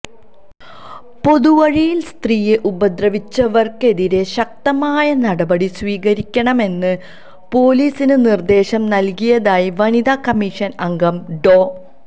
പൊതുവഴിയില് സ്ത്രീയെ ഉപദ്രവിച്ചവര്ക്കെതിരെ ശക്തമായ നടപടി സ്വീകരിക്കണമെന്ന് പോലീസിന് നിര്ദ്ദേശം നല്കിയതായി വനിതാ കമ്മീഷന് അംഗം ഡോ